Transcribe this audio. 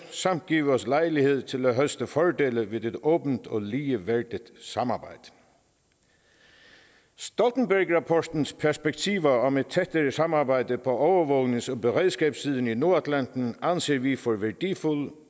og give os lejlighed til at høste fordelene ved et åbent og ligeværdigt samarbejde stoltenbergrapportens perspektiver om et tættere samarbejde på overvågnings og beredskabssiden i nordatlanten anser vi for værdifulde